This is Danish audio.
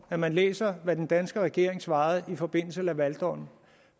at man læser hvad den danske regering svarede i forbindelse med lavaldommen